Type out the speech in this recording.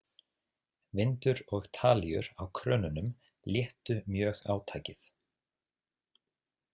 Vindur og talíur á krönunum léttu mjög átakið.